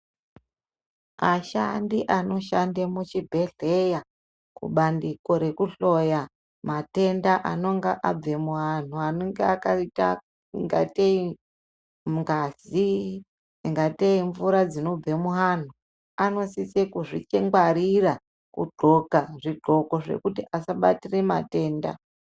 Ashandi anoshanda muchibhedhleya kubandiko rekuhloya matenda anonga abve muanthu anonga akaita ungatei ngazi ingatei mvura dzinobva muanthu anosise kuzvingwarira kugqoka zvigqoko zvekuti asabatire matenda.